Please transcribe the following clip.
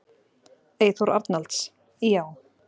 Eyþór Arnalds: Já.